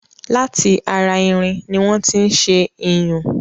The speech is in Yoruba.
Láti ara irin ni wọ́n tí ṣé iyùn